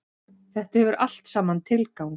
Þetta hefur allt saman tilgang.